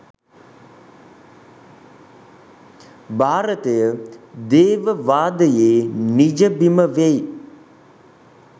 භාරතය දේව වාදයේ නිජබිම වෙයි.